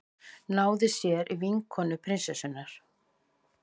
Náði sér í vinkonu prinsessunnar